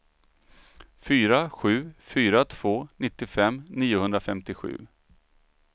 fyra sju fyra två nittiofem niohundrafemtiosju